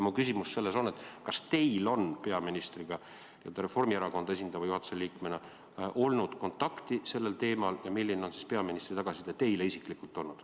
Mu küsimus on selline: kas teil on Reformierakonda esindava juhatuse liikmena olnud peaministriga kontakti sellel teemal ja milline on olnud peaministri tagasiside teile isiklikult?